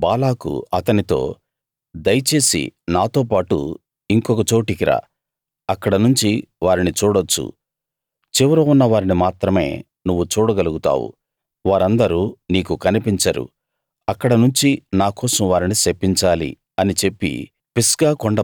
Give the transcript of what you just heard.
అప్పుడు బాలాకు అతనితో దయచేసి నాతోపాటు ఇంకొక చోటికి రా అక్కడనుంచి వారిని చూడొచ్చు చివర ఉన్న వారిని మాత్రమే నువ్వు చూడ గలుగుతావు వారందరూ నీకు కనిపించరు అక్కడ నుంచి నా కోసం వారిని శపించాలి అని చెప్పి